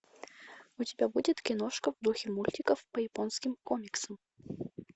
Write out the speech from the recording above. у тебя будет киношка в духе мультиков по японским комиксам